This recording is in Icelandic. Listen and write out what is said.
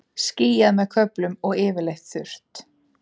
Skýjað með köflum og yfirleitt þurrt